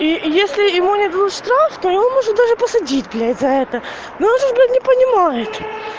и если ему не дадут штраф то его может даже посадить блять за это но он же блять не понимает